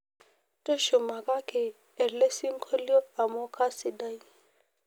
tushumakaki elesingolio amuu kasidai